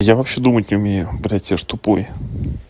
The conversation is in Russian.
я вообще думать умею блядь я же тупой